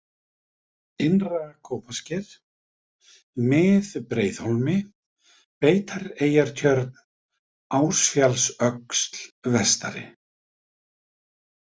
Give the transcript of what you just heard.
Innra-Kópasker, Mið-Breiðhólmi, Beitareyjartjörn, Ásfjallsöxl vestari